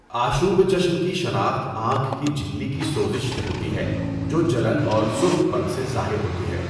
آشوب چشم کی شناخت آنکھ کی جھلی کی سوزش سے ہوتی ہے، جو جلن اور سرخ پن سے ظاہر ہوتی ہے۔